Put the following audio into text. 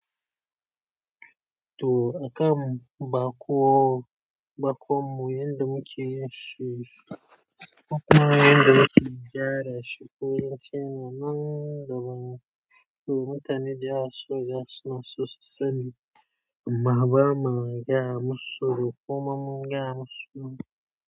To a kan baƙo, baƙon mu yanda muke yi shi, kuma yanda muke gyara shi ko yace nan da ban. To mutane da su, da suna sosu sani. Baba ma ya musu, ko man mun ga ya musu.